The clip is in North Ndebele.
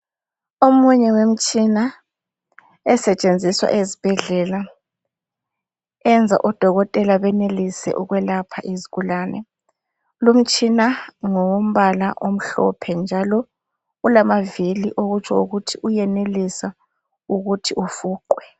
Omunye wemtshina esetshenziswa ezibhedlela, eyenza ododokotela banelise ukwelapha izigulane. Lumtshina ngowombala omhlophe njalo ulamavili okutsho ukuthi uyenelisa ukuthi ufuqwe.